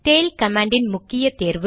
tail command இன் முக்கிய தேர்வு